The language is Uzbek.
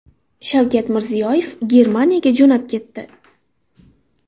Shavkat Mirziyoyev Germaniyaga jo‘nab ketdi.